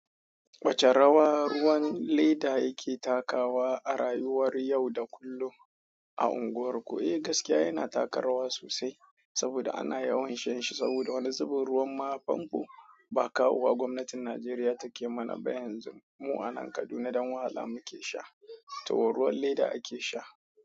Wace rawa ruwan leda yake takawa a rayuwar yau da kullum a unguwarku? Eh gaskiya yana taka rawa sosai saboda ana yawan shan shi saboda wani zubin ruwan ma famfo ba kawo wa gwamnatin Najeriya take mana ba yanzu mu a nan Kaduna dan wahala muke sha, to ruwan leda ake sha.